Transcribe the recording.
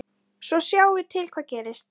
Ég kæri mig ekki um að fá þá núna.